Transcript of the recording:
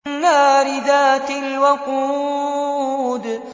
النَّارِ ذَاتِ الْوَقُودِ